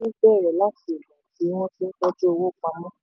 àṣà nínáowó bẹ̀rẹ̀ láti ìgbà tí wọ́n ti n tọ́jú owó pamọ́.